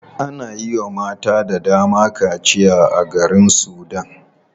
Ana yiwa mata dayawa kaciya a garin sudan.